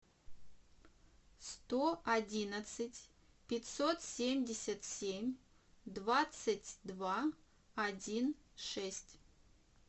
сто одиннадцать пятьсот семьдесят семь двадцать два один шесть